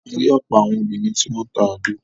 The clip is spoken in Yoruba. A rí ọ̀pọ̀ àwọn obìnrin tí wọ́n n ta àgbo.